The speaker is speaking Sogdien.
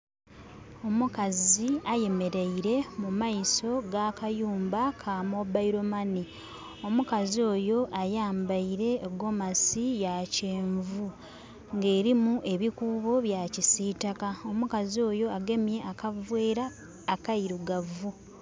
Omukazi Ayemeleire mu maiso g'akayumba ka mobile money. Omukazi oyo ayambaile egomasi ya kyenvu nga erimu ebikuubo bya kisitaka. Omukazi oyo agemye akavera akairugavu.